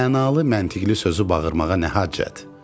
Mənalı, məntiqli sözü bağırmağa nə hacət?